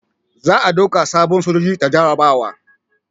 Za a dauka sabon sojoji ta jarabawa